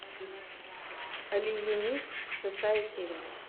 алиенист шестая серия